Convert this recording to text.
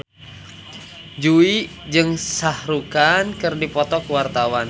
Jui jeung Shah Rukh Khan keur dipoto ku wartawan